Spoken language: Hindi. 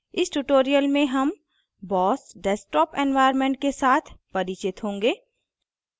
इस tutorial में हम boss desktop environment के साथ परिचित होंगे